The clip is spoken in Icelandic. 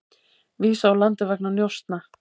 Vísað úr landi vegna njósna